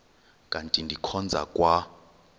kanti ndikhonza kwa